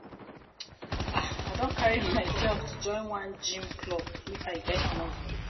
I don carry myself to join one gym gym club, make I get muscle